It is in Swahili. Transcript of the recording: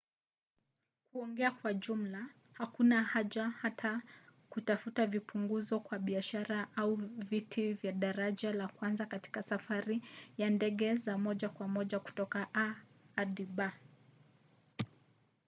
kuongea kwa jumla hakuna haja ya hata kutafuta vipunguzo kwa biashara au viti vya daraja la kwanza katika safari za ndege za moja kwa moja toka a hadi b